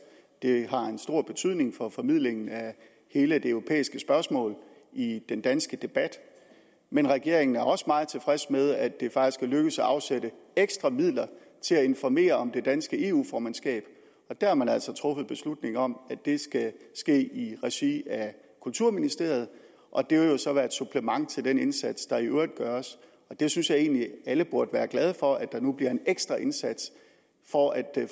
det har en stor betydning for formidlingen af hele det europæiske spørgsmål i den danske debat men regeringen er også meget tilfreds med at det faktisk er lykkedes at afsætte ekstra midler til at informere om det danske eu formandskab der har man altså truffet beslutning om at det skal ske i regi af kulturministeriet og det vil jo så være et supplement til den indsats der i øvrigt gøres jeg synes egentlig at alle burde være glade for at der nu bliver gjort en ekstra indsats for at